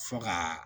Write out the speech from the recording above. Fɔ ka